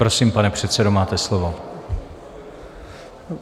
Prosím, pane předsedo, máte slovo.